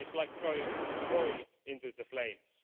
It's like throwing oil into the flames.